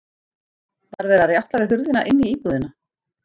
Var verið að rjátla við hurðina inn í íbúðina?